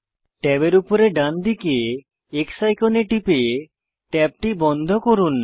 ট্যাবের উপরে ডানদিকে X আইকনে টিপে ট্যাবটি বন্ধ করুন